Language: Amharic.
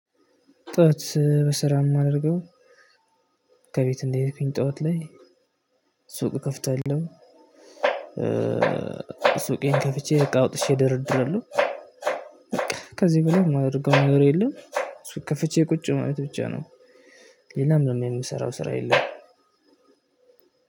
ጠዋት በስራ የማደርገው ከቤት እንደሄድኩኝ ጠዋት ላይ ሱቅ እከፍታለሁ። ሱቄን ከፍቼ እቃ አውጥቼ እደረድራለሁ በቃ ከዚህ በላይ የማደርገው ነገር የለም ሱቅ ከፍቼ ቁጭ ማለት ብቻ ነው። ሌላ ምንም የምሰራው የለኚም።